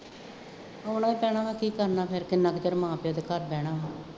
ਆਉਣਾ ਹੀ ਪੈਣਾ, ਕੀ ਕਰਨਾ ਫੇਰ, ਕਿੰਨਾ ਕੁ ਚਿਰ ਮਾਂ ਪਿਉ ਦੇ ਘਰ ਰਹਿਣਾ ਵਾ